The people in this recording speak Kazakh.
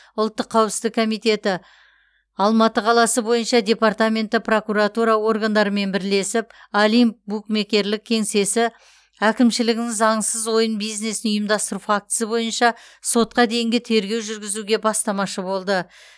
ұлттық қауіпсіздік комитеті алматы қаласы бойынша департаменті прокуратура органдарымен бірлесіп олимп букмекерлік кеңсесі әкімшілігінің заңсыз ойын бизнесін ұйымдастыру фактісі бойынша сотқа дейінгі тергеу жүргізуге бастамашы болды